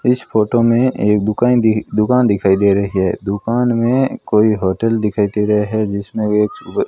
इस फोटो में एक दुकान दुकान दिखाई दे रही है दुकान में कोई होटल दिखाई दे रहे है जिसमें ये --